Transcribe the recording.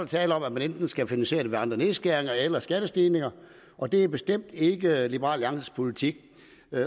tale om at man enten skal finansiere det ved andre nedskæringer eller ved skattestigninger og det er bestemt ikke liberal alliances politik